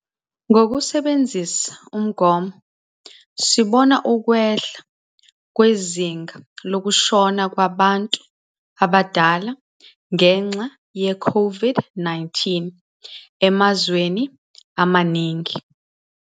Ngokusebenzisa umgomo, sibona ukwehla kwezinga lokushona kwabantu abadala ngenxa yeCOVID-19 emazweni amaningi.